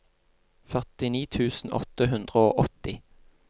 førtini tusen åtte hundre og åtti